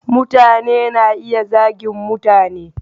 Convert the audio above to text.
Mutane na iya zagin mutane.